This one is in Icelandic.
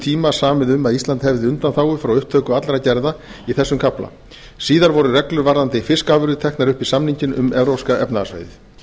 tíma samið um að ísland hefði undanþágu frá upptöku allra gerða í þessum kafla síðar voru reglur varðandi fiskafurðir teknar upp í samninginn um evrópska efnahagssvæðið